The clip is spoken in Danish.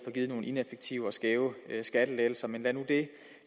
givet nogle ineffektive og skæve skattelettelser men lad nu det